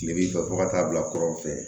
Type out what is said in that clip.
Kile b'i fɛ fo ka taa bila kɔrɔn fɛ